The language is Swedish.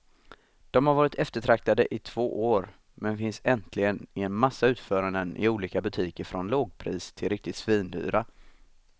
De har varit eftertraktade i två år, men finns äntligen i en massa utföranden i olika butiker från lågpris till riktigt svindyra.